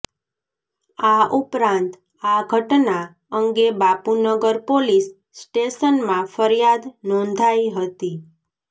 આ ઉપરાંત આ ઘટના અંગે બાપુનગર પોલીસ સ્ટેશનમાં ફરિયાદ નોંધાઈ હતી